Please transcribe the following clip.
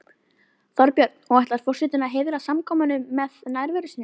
Þorbjörn: Og ætlar forsetinn að heiðra samkomuna með nærveru sinni?